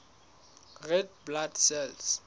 red blood cells